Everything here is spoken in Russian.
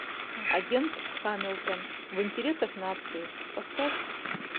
агент хамилтон в интересах нации поставь